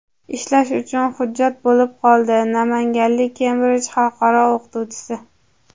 ishlash uchun hujjat bo‘lib qoldi - namanganlik Kembrij xalqaro o‘qituvchisi.